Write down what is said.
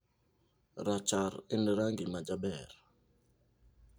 Rachar en rangi majaber.